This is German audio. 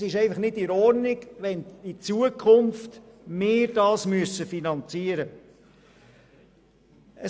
Es ist einfach nicht in Ordnung, wenn wir dies in Zukunft finanzieren müssen.